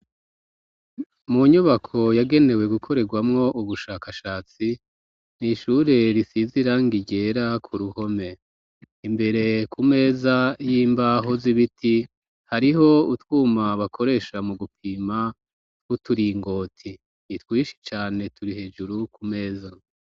Mu nyubako yagenewe gukoregwamo ubushakashatsi, n'ishure risize irangi ryera ku ruhome, imbere ku meza y'imbaho z'ibiti hariho utwuma bakoresha mu gupima tw'uturingoti, ni twinshi cane turi hejuru ku meza.